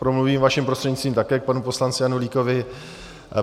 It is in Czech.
Promluvím vaším prostřednictvím také k panu poslanci Janulíkovi.